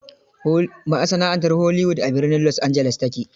Masana'antar Hollywood, a birnin Los Angeles ta ke.